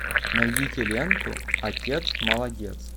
найдите ленту отец молодец